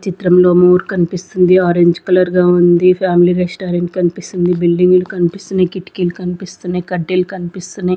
ఈ చిత్రంలో మోర్ కనిపిస్తుంది. ఆరంజ్ కలర్ గా ఉంది ఫ్యామిలీ రెస్టారెంట్ కనిపిస్తుంది బిల్డింగ్ లు కనిపిస్తున్నాయి కిటికీలు కనిపిస్తున్నాయి కర్టెన్ లు కనిపిస్తున్నాయి.